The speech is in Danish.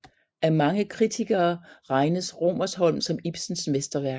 Af mange kritikere regnes Rosmersholm som Ibsens mesterværk